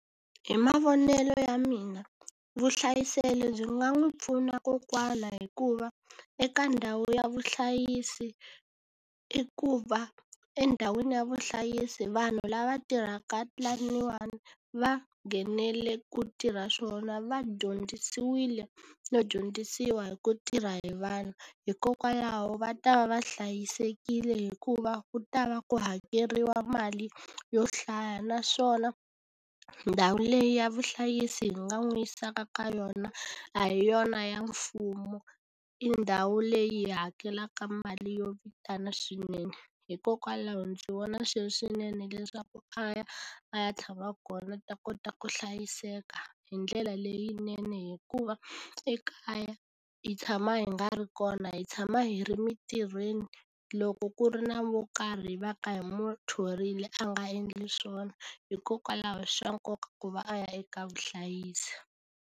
Hi mavonelo ya mina vuhlayiselo byi nga n'wi pfuna kokwana hikuva, eka ndhawu ya vuhlayisi i ku va endhawini ya vuhlayisi vanhu lava tirhaka laniwani va nghenele ku tirha swona va dyondzisiwile no dyondzisiwa hi ku tirha hi vanhu. Hikokwalaho va ta va va hlayisekile hikuva ku ta va ku hakeriwa mali yo hlaya. Naswona ndhawu leyi ya vuhlayisi hi nga n'wi yisaka ka yona, a hi yona ya mfumo, i ndhawu leyi hi hakelaka mali yo vitana swinene. Hikokwalaho ndzi vona swi ri swinene leswaku a ya a ya tshama kona a ta kota ku hlayiseka hi ndlela leyinene. Hikuva ekaya hi tshama hi nga ri kona, hi tshama hi ri mintirhweni, loko ku ri na wo karhi va ka hi n'wi thorile a nga endli swona. Hikokwalaho i swa nkoka ku va a ya eka vuhlayisi.